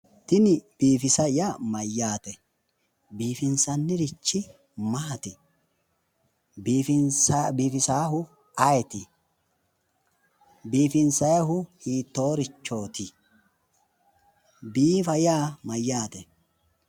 Tini biifisa yaa mayyaate? Biifinsannirichi maati? Biifisaahu ayeeti? Biifinsayihu hiittoorichooti? Biifa yaa mayyaate?